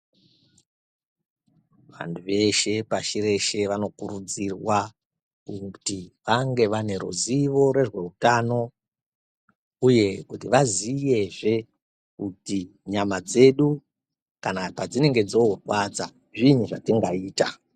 Vantu veshe pashi reshe vanokurudzirwa kuti vange vane ruzivo rwezveutano, uye kuti vaziyezve kuti nyama dzedu kana padzinenge dzoorwadza zvinyi zvatingaita.